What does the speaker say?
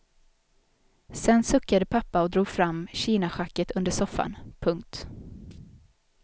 Sen suckade pappa och drog fram kinaschacket under soffan. punkt